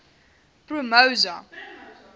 promosa